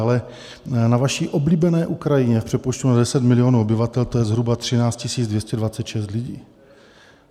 Ale na vaší oblíbené Ukrajině v přepočtu na 10 milionů obyvatel, to je zhruba 13 226 lidí.